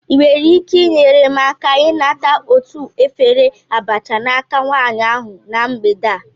Ị nwere ike inyere m aka ịnata otu efere abacha n'aka nwanyị ahụ na mgbede a?